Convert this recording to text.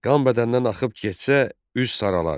Qan bədəndən axıb getsə, üz saralar.